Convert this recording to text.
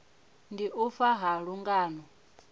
ndi u fa ha lungano